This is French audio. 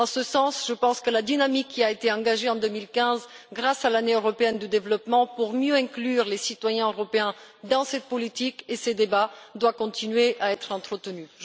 En ce sens, je pense que la dynamique qui a été engagée en 2015 grâce à l'Année européenne pour le développement pour mieux intégrer les citoyens européens dans cette politique et ces débats doit continuer à être entretenue.